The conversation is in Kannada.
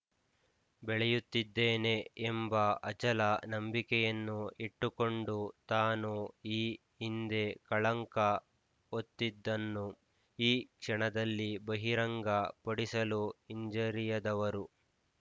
ಬೆಳೆಯುತ್ತಿದ್ದೇನೆ ಎಂಬ ಅಚಲ ನಂಬಿಕೆಯನ್ನು ಇಟ್ಟುಕೊಂಡು ತಾನು ಈ ಹಿಂದೆ ಕಳಂಕ ಹೊತ್ತಿದ್ದನ್ನು ಈ ಕ್ಷಣದಲ್ಲಿ ಬಹಿರಂಗ ಪಡಿಸಲು ಹಿಂಜರಿಯದವರು